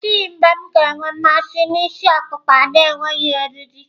Ọ dịghị mgbe m ga-enwe mmasị na ịsị okupka na-enweghị eriri.